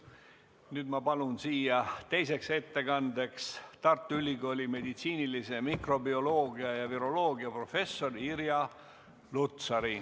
Nüüd ma palun siia teiseks ettekandeks Tartu Ülikooli meditsiinilise mikrobioloogia ja viroloogia professori Irja Lutsari.